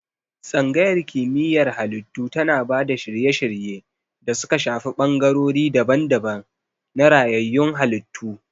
Tsangayar Kimiyyar Halittu tana ba da shirye-shirye da suka shafi bangarori daban-daban na rayayyun halittu.